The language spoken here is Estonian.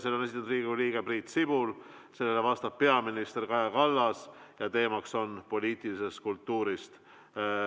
Selle on esitanud Riigikogu liige Priit Sibul, sellele vastab peaminister Kaja Kallas ja teema on poliitiline kultuur.